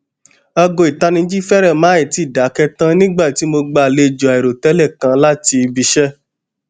aago itaniji férè má tíì dáké tan nigba ti mo gba alejo airotẹlẹ kan lati ibiiṣẹ